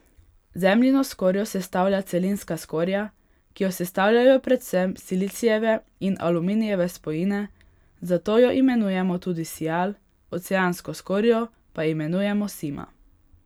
Zemljino skorjo sestavlja celinska skorja, ki jo sestavljajo predvsem silicijeve in aluminijeve spojine, zato jo imenujemo tudi sial, oceansko skorjo pa imenujemo sima.